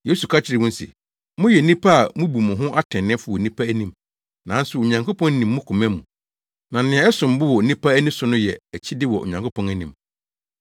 Yesu ka kyerɛɛ wɔn se, “Moyɛ nnipa a mubu mo ho atreneefo wɔ nnipa anim, nanso Onyankopɔn nim mo koma mu. Na nea ɛsom bo wɔ nnipa ani so no yɛ akyide wɔ Onyankopɔn anim.